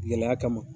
Gɛlɛya kama